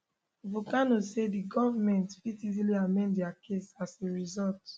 voncannon say di goment fit easily amend dia case as a result